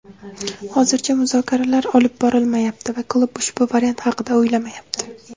hozircha muzokaralar olib borilmayapti va klub ushbu variant haqida o‘ylamayapti.